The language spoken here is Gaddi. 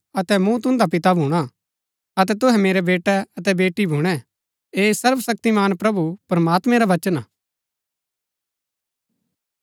अतै मूँ तुन्दा पिता भूणा अतै तुहै मेरै बेटे अतै बेटी भूणै ऐह सर्वशक्तिमान प्रभु प्रमात्मैं रा वचन हा